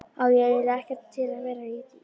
Á eiginlega ekkert til að vera í.